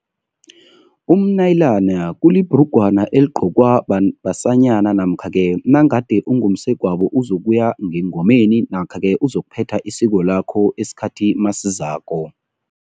Umnayilana kulibhrugwana eligqokwa basanyana namkha-ke nagade ungumsegwabo uzokuya ngengomeni namkha-ke uzokuphetha isiko lakho isikhathi masizako.